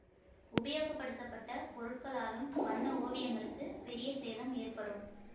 உபயோகப்படுத்தப்பட்ட பொருட்களாலும் வண்ண ஓவியங்களுக்கு பெரிய அளவில் சேதம் ஏற்படும்